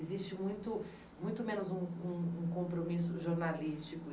Existe muito muito menos um um um compromisso jornalístico.